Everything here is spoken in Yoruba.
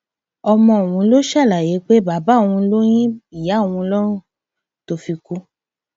ọmọ ọhún ló ṣàlàyé pé bàbá òun ló yin ìyá òun lọrùn tó fi kú